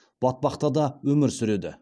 батпақта да өмір сүреді